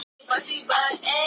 Ítalska hagkerfið á hættusvæði